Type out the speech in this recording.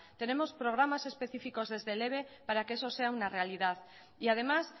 tenemos programas específicos desde el eve para que eso sea una realidad y además